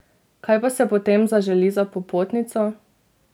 Kaj pa se potem zaželi za popotnico?